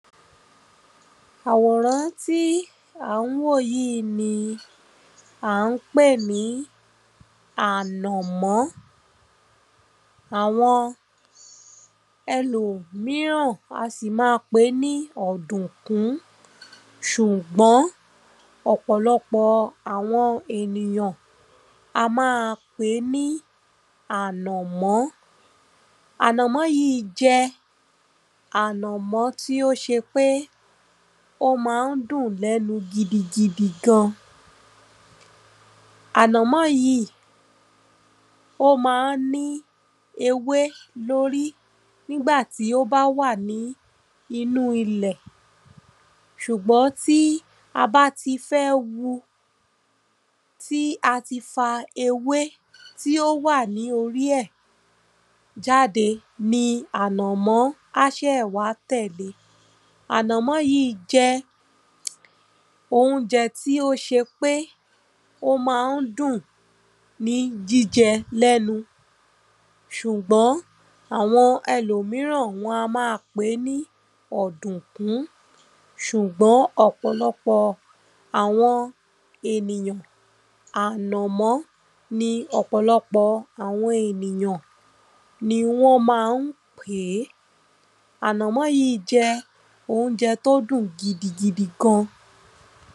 Àwòrán tí à ń wò yí ni à ń pè ní ànò̩mó̩. Àwo̩n e̩lòmíràn a sì ma pè é ní ò̩dùnkún. S̩udgbó̩n ò̩pò̩lo̩pò̩ àwo̩n ènìyàn a má a pè é ní ànò̩mó̩. Ànò̩mó̩ yíì jé̩ ànò̩mó̩ tí ó s̩e pé ó ma ń dùn lé̩nu gidi gidi gan. Ànò̩mó̩ yíì ó ma ń ní ewé lórí nígbà tí ó bá wà ní inú ilè̩. S̩ùgbó̩n tí a bá ti fé̩ wu, tí a ti fa ewé tí ó wà ní orí è̩ jáde ni ànò̩mó̩ á sè̩ wá tè̩le. Ànò̩mó̩ yíì jé̩ oúnjé̩ tí ó s̩e pé ó ma ń dùn ní jíje̩ lé̩nu. Sùgbó̩n e̩lòmíràn wo̩n a má a pè é ní ò̩dùnkún. S̩ùgbó̩n ò̩pò̩lo̩pò̩ àwo̩n ènìyàn ànò̩mó̩ ni ò̩pò̩lo̩pò̩ àwo̩n ènìyàn wó̩n má a ń pè é. Ànò̩mó̩ yíì jé̩ oúnje̩ tó dùn gidi gan.